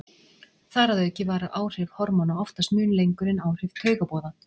Þar að auki vara áhrif hormóna oftast mun lengur en áhrif taugaboða.